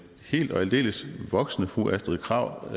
helt og aldeles voksne fru astrid krag